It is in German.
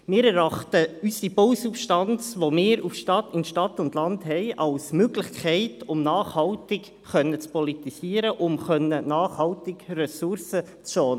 Ich erachte unsere Bausubstanz, die wir in Stadt und Land haben, als Möglichkeit, nachhaltig zu politisieren und nachhaltig Ressourcen zu schonen.